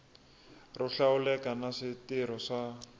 ro hlawuleka na switirho swa